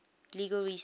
legal research